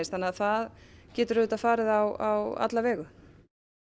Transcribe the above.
þannig að það getur farið á alla vegu